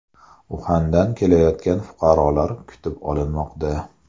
Uxandan kelayotgan fuqarolar kutib olinmoqda.